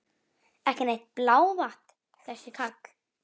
Ekki neitt blávatn þessi karl!